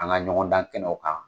An ka ɲɔgɔn dan kɛnɛw kan